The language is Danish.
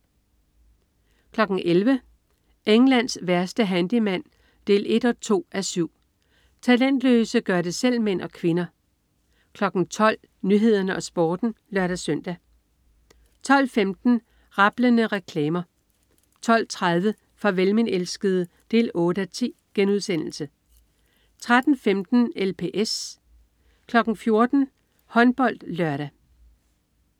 11.00 Englands værste handyman 1-2:7. Talentløse gør det selv-mænd og -kvinder 12.00 Nyhederne og Sporten (lør-søn) 12.15 Rablende reklamer 12.30 Farvel min elskede 8:10* 13.15 LPS 14.00 HåndboldLørdag